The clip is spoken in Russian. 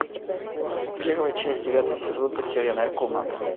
первая часть девятый сезон потерянная комната